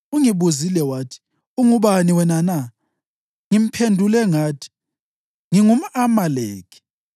Ungibuzile wathi, ‘Ungubani wena na?’ Ngiphendule ngathi, ‘NgingumʼAmaleki.’